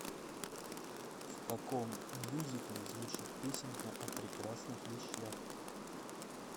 в каком мюзикле звучит песенка о прекрасных вещах